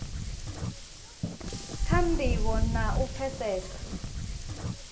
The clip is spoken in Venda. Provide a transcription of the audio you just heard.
kha ndivho na u pfesesa